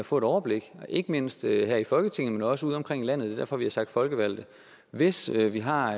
få et overblik ikke mindst her i folketinget men også udeomkring i landet det er derfor vi har sagt folkevalgte hvis vi har